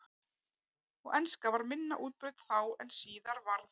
Og enska var minna útbreidd þá en síðar varð.